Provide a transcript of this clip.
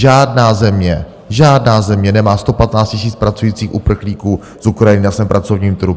Žádná země, žádná země nemá 115 000 pracujících uprchlíků z Ukrajiny na svém pracovním trhu!